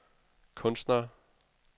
kunstnere